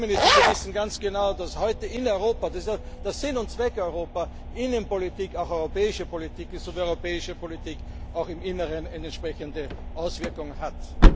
Aber, Herr Premierminister, Sie wissen ganz genau, dass heute in Europa das ist ja der Sinn und Zweck Europas Innenpolitik auch europäische Politik ist und europäische Politik auch im Inneren entsprechende Auswirkungen hat.